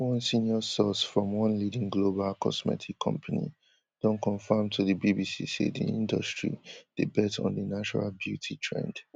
one senior source from one leading global cosmetic company don confam to di bbc say di industry dey bet on di natural beauty trend